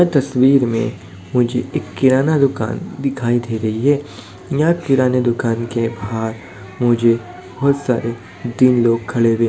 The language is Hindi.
यह तस्वीर में मुझे एक किराना दुकान दिखाई दे रही है यह किराना दुकान के बाहर मुझे बहोत सारे तीन लोग खड़े हुए --